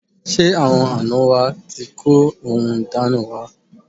Ṣé àwọn àná wa ti kó ohun ìdána wa?